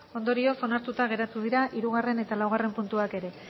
ondorioz onartuta geratu dira hirugarren eta laugarren puntuak ere